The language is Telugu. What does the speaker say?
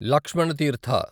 లక్ష్మణ తీర్థ